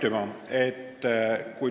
Aitüma!